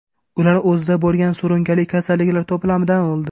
Ular o‘zida bo‘lgan surunkali kasalliklar to‘plamidan o‘ldi.